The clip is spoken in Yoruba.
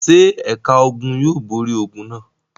Ṣé ẹ̀ka ogun yóò borí ogun náà?